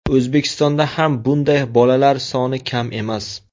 O‘zbekistonda ham bunday bolalar soni kam emas.